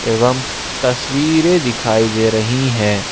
एवं तस्वीरें दिखाई दे रही है।